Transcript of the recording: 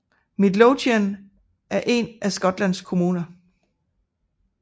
Midlothian er en af Skotlands kommuner